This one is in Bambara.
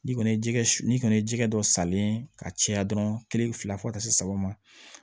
N'i kɔni ye ji kɛ su n'i kɔni ye jikɛ dɔ salen ye ka caya dɔrɔn kelen fila fɔ ka taa se saba ma